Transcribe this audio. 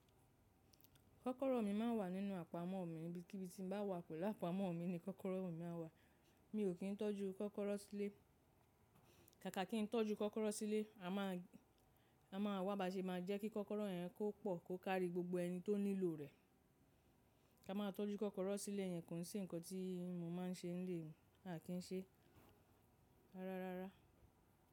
Kọ́kọ́rọ́ mi ma ń wà nínú àpamọ́ mi níbikíbi tí mo bá wà pẹ̀lú àpamọ́ mi ni kọ́kọ́rọ́ mi ma ń wà. Mi ò kí ń tọ́jú kọ́kọ́rọ́ sílé, káàkà kí ń tọ́jú kọ́kọ́rọ́ sílé, a máa, a máa wá ba ṣe máa jẹ́ kí kọ́kọ́rọ́ yẹn kó pọ̀, kó kári gbogbo ẹni tó nílò rẹ̀. Ká má tọ́jú kọ́kọ́rọ́ sílé yẹn kò sí ǹkan tí mo máa ń ṣe nílé mi lákìníṣẹ́ rárárá.